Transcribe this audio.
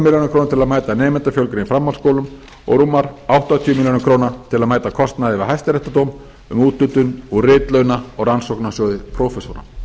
að mæta nemendafjölgun í framhaldsskólum og rúmar áttatíu milljónir króna til að mæta kostnaði við hæstaréttardóm um úthlutun úr ritlauna og rannsóknarsjóði prófessora